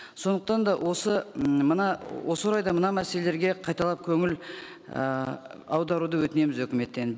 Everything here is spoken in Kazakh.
сондықтан да осы м мына осы орайда мына мәселелерге қайталап көңіл ыыы аударуды өтінеміз өкіметтен